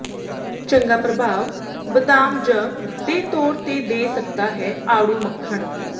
ਚੰਗਾ ਪ੍ਰਭਾਵ ਬਦਾਮ ਜ ਦੇ ਤੌਰ ਤੇ ਦੇ ਸਕਦਾ ਹੈ ਆੜੂ ਮੱਖਣ